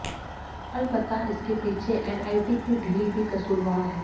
अलबत्ता इसके पीछे एनआईटी की ढील भी कसूरवार है